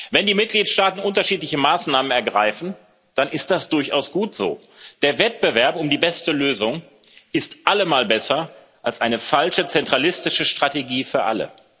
Wenn die Mitgliedstaaten unterschiedliche Maßnahmen ergreifen, dann ist das durchaus gut so. Der Wettbewerb um die beste Lösung ist allemal besser als eine falsche zentralistische Strategie für alle.